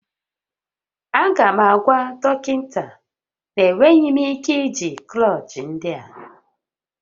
Aga m agwa dọkịta na enweghị m ike iji klọchị ndị a